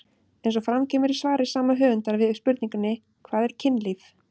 Eins og fram kemur í svari sama höfundar við spurningunni Hvað er kynlíf?